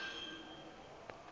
retela a re a mo